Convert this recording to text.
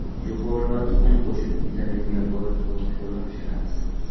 Jo‘xori va tuxum qo‘shib vitaminga boy tovuq sho‘rva pishiramiz.